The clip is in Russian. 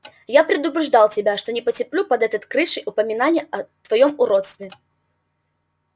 я предупреждал тебя что не потерплю под этой крышей упоминания о твоём уродстве